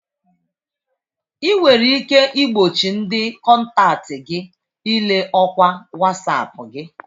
Ị nwere ike igbochi ndị kọntaktị gị ile ọkwa Wasapu gị.